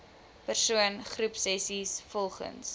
persoon groepsessies volgens